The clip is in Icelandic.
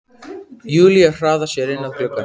Júlía hraðar sér inn að glugganum.